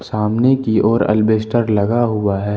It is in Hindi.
सामने की ओर एल्वेस्टर लगा हुआ है।